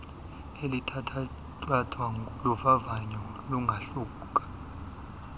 elithatyathwa luvavanyo lungahluka